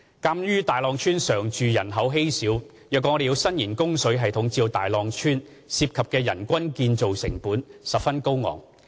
鑒於大浪村常住人口稀少，若要伸延自來水供應系統至大浪村，涉及的人均建設成本十分高昂。